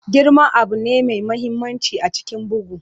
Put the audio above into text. Girman abu ne mai mahimmanci a cikin bugu.